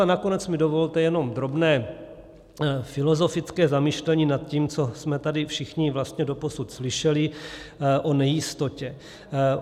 A nakonec mi dovolte jenom drobné filozofické zamyšlení nad tím, co jsme tady všichni vlastně doposud slyšeli o nejistotě.